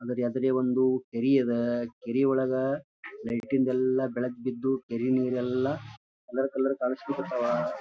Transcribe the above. ಅದ್ರ ಎದುರೇ ಒಂದು ಕೆರೆ ಅದ ಕೆರೆ ಒಳಗ ಲೈಟಿನ ಬೆಳಕು ಎಲ್ಲ ಬೆಳಕು ಬಿದ್ದು ಕೇರಿ ನೀರ್ ಎಲ್ಲ ಕಲರ್ ಕಲರ್ ಕಾಣಿಸ್ಲಿಕ್ ಹತ್ತವ .